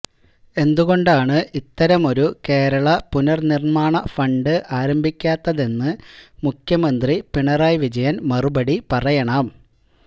എന്തുകൊണ്ടാണ് ഇത്തരമൊരു കേരള പുനർനിർമ്മാണ ഫണ്ട് ആരംഭിക്കാത്തതെന്ന് മുഖ്യമന്ത്രി പിണറായി വിജയൻ മറുപടി പറയണം